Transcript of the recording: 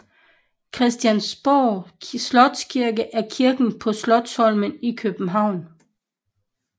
Christiansborg Slotskirke er kirken på Slotsholmen i København